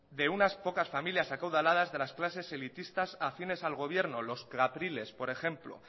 de unas pocas familias acaudaladas de las clases elitistas a acciones al gobierno los atriles por ejemplo